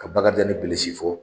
Ka Bakarijan ni Bilisi fo